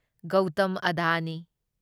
Gautam Adani